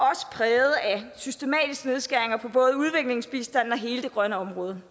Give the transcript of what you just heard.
præget af systematiske nedskæringer på både udviklingsbistanden og hele det grønne område